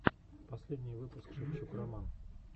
последний выпуск шевчук роман